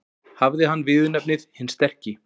Hafði hann viðurnefnið hinn sterki.